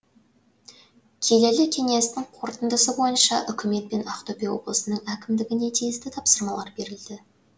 келелі кеңестің қорытындысы бойынша үкімет пен ақтөбе облысының әкімдігіне тиісті тапсырмалар берілді